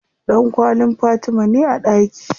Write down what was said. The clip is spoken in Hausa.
Ɗankwallin Fatima ne a ɗaki.